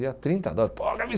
Ia trinta dólar.